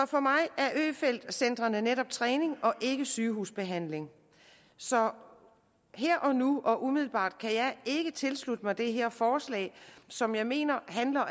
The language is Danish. for mig er øfeldt centrene netop træning og ikke sygehusbehandling så her og nu og umiddelbart kan jeg ikke tilslutte mig det her forslag som jeg mener